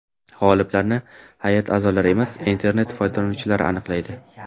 G‘oliblarni hay’at a’zolari emas, internet foydalanuvchilari aniqlaydi.